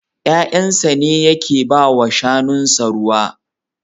Yayansa ne yake ba wa shanunsa ruwa.